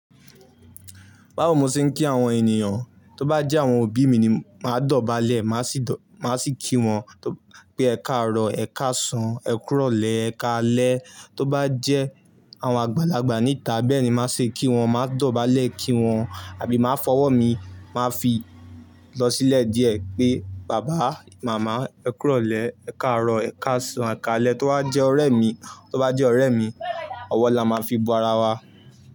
Báwo mo ṣe ń kí àwọn ènìyàn, tó bá jẹ́ àwọn òbí mi ni máa dọ̀bálẹ̀, má sì kí wọn pé ẹkáàró, ẹkáàsán, ẹkúròlẹ́, ẹkáalẹ́. Tó bá jẹ́ àwọn àgbàlagbà níta bẹ́ẹ̀ ni máa ṣe kí wọn, máa dọ̀bálẹ̀ kí wọn àbí máa fọwọ́ mi, màá fi lọ sílẹ̀ díẹ̀ pé bàbá, màmá ẹkúròlẹ́, ẹkáàró, ẹkáàsán, ẹkáalẹ́. Tó bá jẹ́ ọ̀rẹ́ mi, tó bá jẹ́ ọ̀rẹ́ mi, ọwọ́ la máa fi ba ara wa.